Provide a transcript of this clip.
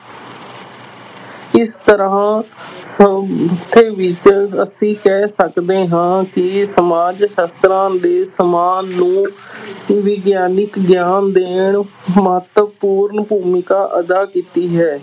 ਇਸ ਤਰ੍ਹਾਂ ਵਿੱਚ ਅਸੀਂ ਕਹਿ ਸਕਦੇ ਹਾਂ ਕਿ ਸਮਾਜ ਸ਼ਾਸਤਰਾਂ ਦੇ ਵਿਗਿਆਨਕ ਗਿਆਨ ਦੇਣ ਮਹੱਤਵਪੂਰਨ ਭੂਮਿਕਾ ਅਦਾ ਕੀਤੀ ਹੈ।